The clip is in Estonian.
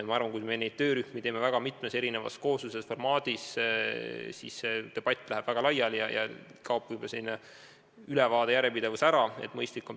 Ma arvan, et kui teeme neid töörühmi mitmes erinevas koosluses, formaadis, siis läheb see debatt väga laiali ja ülevaade, järjepidevus kaob võib-olla ära.